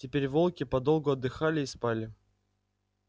теперь волки подолгу отдыхали и спали